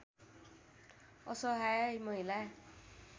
असहाय महिला